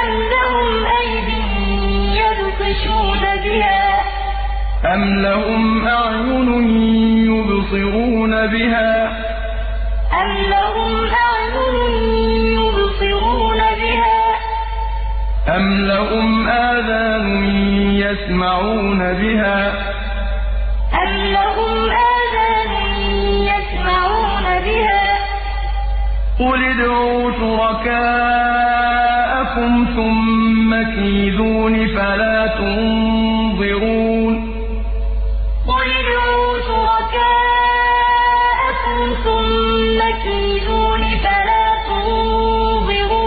أَمْ لَهُمْ أَعْيُنٌ يُبْصِرُونَ بِهَا ۖ أَمْ لَهُمْ آذَانٌ يَسْمَعُونَ بِهَا ۗ قُلِ ادْعُوا شُرَكَاءَكُمْ ثُمَّ كِيدُونِ فَلَا تُنظِرُونِ أَلَهُمْ أَرْجُلٌ يَمْشُونَ بِهَا ۖ أَمْ لَهُمْ أَيْدٍ يَبْطِشُونَ بِهَا ۖ أَمْ لَهُمْ أَعْيُنٌ يُبْصِرُونَ بِهَا ۖ أَمْ لَهُمْ آذَانٌ يَسْمَعُونَ بِهَا ۗ قُلِ ادْعُوا شُرَكَاءَكُمْ ثُمَّ كِيدُونِ فَلَا تُنظِرُونِ